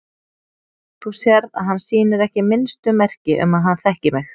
Þú sérð að hann sýnir ekki minnstu merki um að hann þekki mig.